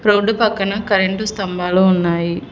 Road పక్కన current స్తంభాలు ఉన్నాయి.